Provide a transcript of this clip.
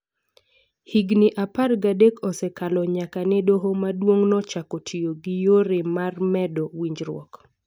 Higini apar gadek osekalo nyaka ne doho maduong' no chako tiyo gi yore marmedo winjruok. .